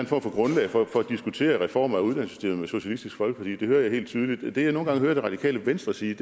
for grundlag for at diskutere en reform af uddannelsessystemet med socialistisk folkeparti det hører jeg helt tydeligt det jeg nogle gange hører det radikale venstre sige